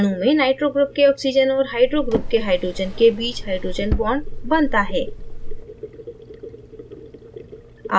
अणु में nitro group के oxygen और hydrogen group के hydrogen के बीच hydrogen bond बनता है